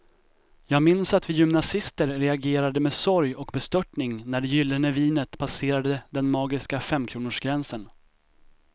Jag minns att vi gymnasister reagerade med sorg och bestörtning när det gyllene vinet passerade den magiska femkronorsgränsen.